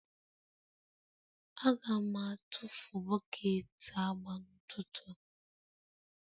Aga m atụfu bọket agba n'ụtụtụ a.